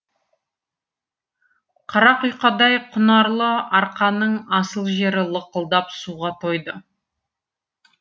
қара құйқадай құнарлы арқаның асыл жері лықылдап суға тойды